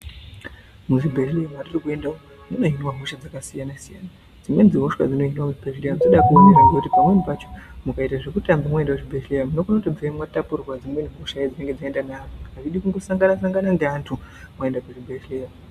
Muzvibhedhlera mwatiri kuenda umwu mune zvimahosha dzakasiyana siyana , dzimweni dzehosha dzinoonera muzvibhedhlera dzinode kuonera ngekuti pamweni pacho mukaiye zvekutamba maende kuzvibhedhlera munokona kutobveyo mwatapurirwa dzimweni hosha dzinenge dzaenda neantu azvidi kundosangana neantu mwaende kuzvibhedhlera.